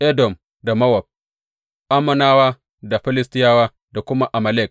Edom da Mowab, Ammonawa da Filistiyawa, da kuma Amalek.